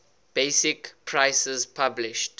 basic prices published